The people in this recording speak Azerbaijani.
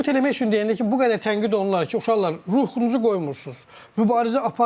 Sübut eləmək üçün dedilər ki, bu qədər tənqid olunurlar ki, uşaqlar, ruhunuzu qoymursunuz, mübarizə aparmırsınız.